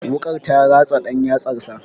Wuƙar ta ratsa ɗan yatsansa.